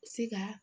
Se ka